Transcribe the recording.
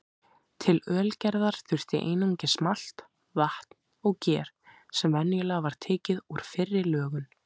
Til ölgerðar þurfti einungis malt, vatn og ger sem venjulega var tekið úr fyrri lögun.